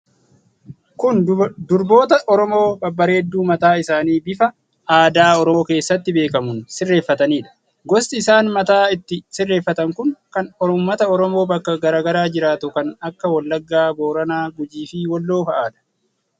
Kun durboota Oromoo babbareedduu mataa isaanii bifa aadaa Oromoo keessatti beekamuun sirreeffataniidha. Gosti isaan mataa itti sirreeffatan kun kan Ummata Oromoo bakka garaa garaa jiraatu kan akka wallaggaa, Booranaa, Gujii fi Walloo fa'adha.